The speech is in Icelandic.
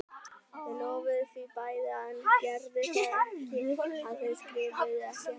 Þau lofuðu því bæði en gerðu það ekki og þau skrifuðu ekki heldur.